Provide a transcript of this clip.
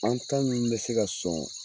An ta min be se ka sɔn